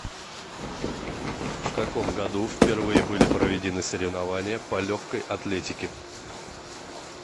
в каком году впервые были проведены соревнования по легкой атлетике